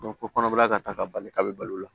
ko kɔnɔbara ka ta ka bali ka be balo la